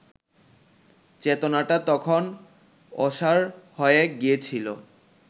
চেতনাটা তখন অসাড় হয়ে গিয়েছিল